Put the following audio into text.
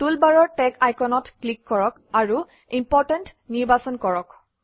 টুলবাৰৰ টেগ আইকনত ক্লিক কৰক আৰু ইম্পৰ্টেণ্ট নিৰ্বাচন কৰক